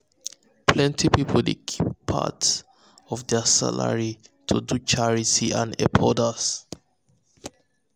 plenty people dey keep part of part of their salary to do charity and help others.